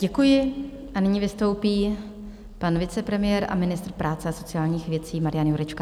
Děkuji a nyní vystoupí pan vicepremiér a ministr práce a sociálních věcí Marian Jurečka.